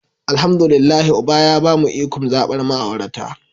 Alhamdu lillahi uba ya bamu ikon zabar ma'aurata.